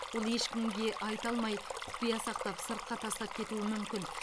ол ешкімге айта алмай құпия сақтап сыртқа тастап кетуі мүмкін